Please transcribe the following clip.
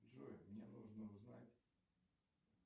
джой мне нужно узнать